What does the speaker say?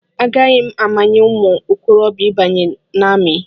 Agaghị amanye ụmụ okorobịa ịbanye n'amị.